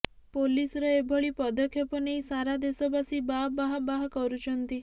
ପୋଲିସର ଏଭଳି ପଦକ୍ଷେପ ନେଇ ସାରା ଦେଶବାସୀ ବାଃ ବାଃ ବାଃ କରୁଛନ୍ତି